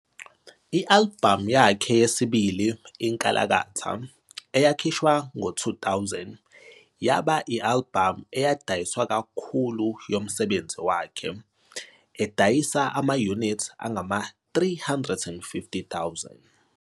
I-albhamu yakhe yesibili "I-Nkalakatha", eyakhishwa ngo-2000, yaba yi-albhamu edayiswa kakhulu yomsebenzi wakhe, edayisa ama-unit angama-350,000.